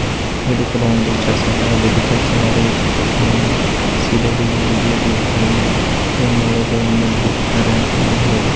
ಇದು ಕೂಡ ಒಂದು ಚರ್ಚ್ ಅಂತ ಹೇಳಬಹುದು ಚರ್ಚ್ ನ ಮೇಲೆ ಯೇಸು ಇದೇ ರೀತಿಯಾಗಿ ನಿಮ್ಮೊಳಗಡೆ ಅಂತ ಹೇಳಬಹುದು .